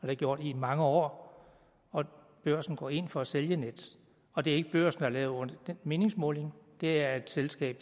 jeg gjort i mange år børsen går ind for at sælge nets og det er ikke børsen der har lavet den meningsmåling det er et selskab